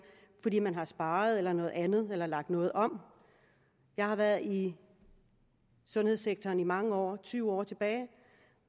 fordi man har sparet eller noget andet eller lagt noget om jeg har været i sundhedssektoren i mange år tyve år